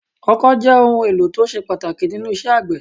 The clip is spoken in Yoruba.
Ọkọ́ jẹ́ ohun èlò tó ṣe pàtàkì nínú isẹ́ àgbẹ̀